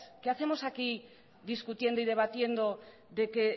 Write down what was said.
qué hacemos aquí discutiendo y debatiendo de que